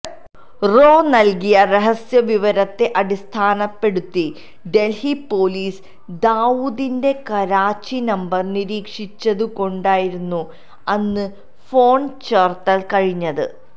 raw നൽകിയ രഹസ്യവിവരത്തെ അടിസ്ഥാനപ്പെടുത്തി ഡൽഹി പൊലീസ് ദാവൂദിന്റെ കറാച്ചി നമ്പർ നിരീക്ഷിച്ചതു കൊണ്ടായിരുന്നു അന്ന് ഫോൺ ചോർത്താൻ കഴിഞ്ഞത്